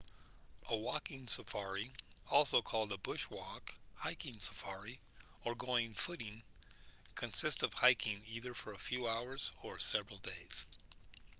a walking safari also called a bush walk hiking safari or going footing consists of hiking either for a few hours or several days